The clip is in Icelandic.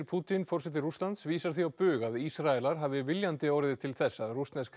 Pútín forseti Rússlands vísar því á bug að Ísraelar hafi viljandi orðið til þess að rússnesk